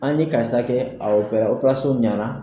An ye karisa kɛ o ɲɛna